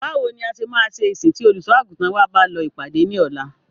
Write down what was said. Báwo ní a ṣe máa ṣe ìsìn tí Olùṣọ́-àgùntàn wa bá lọ ìpàdé ní ọ̀la?